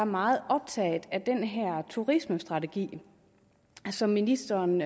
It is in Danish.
meget optaget af den turismestrategi som ministeren